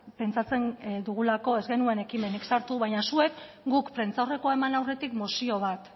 pentsatzen dugulako ez genuen ekimenik sartu baina zuek guk prentsaurrekoa eman aurretik mozio bat